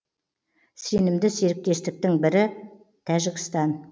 сенімді серіктестің бірі тәжікстан